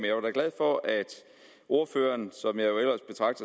jeg var da glad for at ordføreren